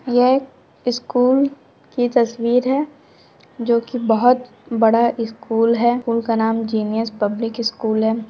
यह स्कूल की तस्वीर है जो की बहुत बड़ा स्कूल है स्कूल का नाम जीनियस पब्लिक स्कूल है।